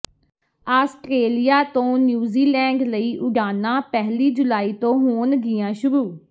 Australia ਤੋਂ New Zealand ਲਈ ਉਡਾਣਾਂ ਪਹਿਲੀ ਜੁਲਾਈ ਤੋਂ ਹੋਣਗੀਆਂ ਸ਼ੁਰੂ